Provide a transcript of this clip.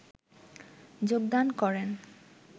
যোগদান করেন